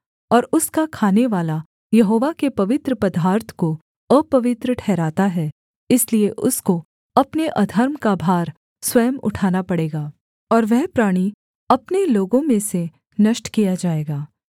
और उसका खानेवाला यहोवा के पवित्र पदार्थ को अपवित्र ठहराता है इसलिए उसको अपने अधर्म का भार स्वयं उठाना पड़ेगा और वह प्राणी अपने लोगों में से नष्ट किया जाएगा